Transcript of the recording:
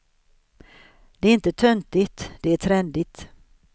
Det är inte töntigt, det är trendigt.